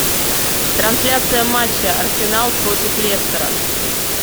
трансляция матча арсенал против лестера